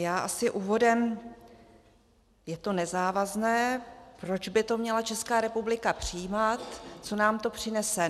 Já asi úvodem - je to nezávazné, proč by to měla Česká republika přijímat, co nám to přinese.